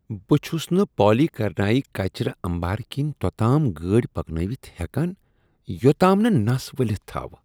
بہٕ چھس نہٕ پالی کرنائی کچرٕانبارٕ کِنۍ توٚتام گٲڑۍ پکنٲوِتھ ہیکان یوٚتام نہ نس ؤلِتھ تھاوٕ ۔